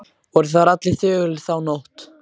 Voru þar allir þögulir þá nótt.